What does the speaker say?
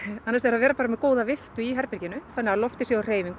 vera með góða í herberginu þannig að loftið sé á hreyfingu